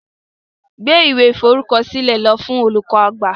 Gbeb iwe iforukọsilẹ lo fun olukọ-agbạ!